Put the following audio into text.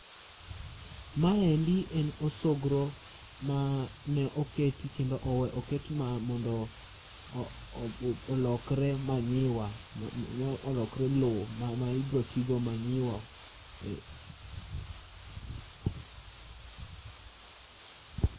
Maendi en osogro mane oket kendo owe oket mondo obu olokre manyiwa ma olokre lowo ma bi tigo olokre manyiwa.